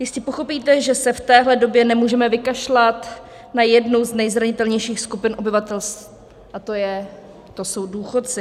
Jistě pochopíte, že se v téhle době nemůžeme vykašlat na jednu z nejzranitelnějších skupin obyvatelstva, a to jsou důchodci.